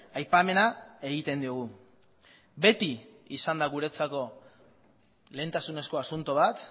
aipamena egiten diogu beti izan da guretzako lehentasunezko asunto bat